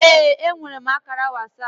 Ee, enwere m ákàrà WhatsApp